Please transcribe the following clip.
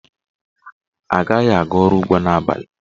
Anaghị aga ọrụ ugbo n'abalị.